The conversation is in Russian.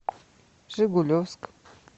жигулевск